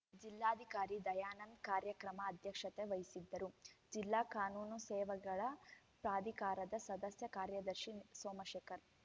ಜಿಲ್ಲಾಧಿಕಾರಿ ದಯಾನಂದ್‌ ಕಾರ್ಯಕ್ರಮದ ಅಧ್ಯಕ್ಷತೆ ವಹಿಸಿದ್ದರು ಜಿಲ್ಲಾ ಕಾನೂನು ಸೇವೆಗಳ ಪ್ರಾಧಿಕಾರದ ಸದಸ್ಯ ಕಾರ್ಯದರ್ಶಿ ಸೋಮಶೇಖರ